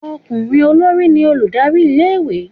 okunrin olorí ni olùdarí ilé ìwé